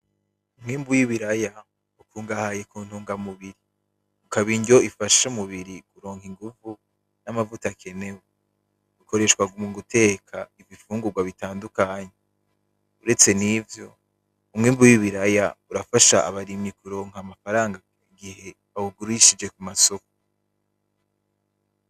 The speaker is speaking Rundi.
Umwibu wibiraya uhambaye kuntungamubiri, ukaba inryo ifasha umubiri kuronka inguvu namavuta akenewe. Ukoreshwa muguteka ibifungurwa bitandukanye uretse nivyo, umwibu wibiraya urafasha abarimyi kuronka amafaranga mugihe bawugurishije kuma soko.